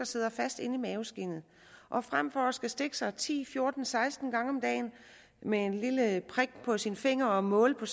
sidder fast inde i maveskindet og frem for skal stikke sig ti fjorten eller seksten gange om dagen med et lille prik på sin finger og måle på